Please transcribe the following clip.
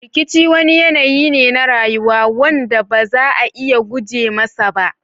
Rikici wani yanayi ne na rayuwa. wanda ba za a iya guje masa ba